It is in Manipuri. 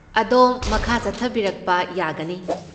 ꯑꯗꯣꯝ ꯃꯈꯥ ꯆꯠꯊꯕꯤꯔꯛꯄ ꯌꯥꯒꯅꯤ꯫